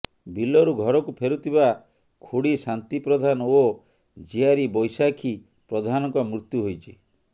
ବିଲରୁ ଘରକୁ ଫେରୁଥିବା ଖୁଡ଼ି ଶାନ୍ତି ପ୍ରଧାନ ଓ ଝିଆରୀ ବୈଶାଖୀ ପ୍ରଧାନଙ୍କ ମୃତ୍ୟୁ ହୋଇଛି